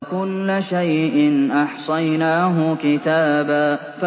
وَكُلَّ شَيْءٍ أَحْصَيْنَاهُ كِتَابًا